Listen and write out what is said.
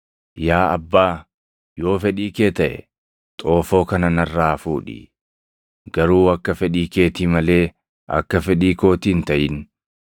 “Yaa Abbaa, yoo fedhii kee taʼe, xoofoo kana narraa fuudhi; garuu akka fedhii keetii malee akka fedhii kootii hin taʼin.”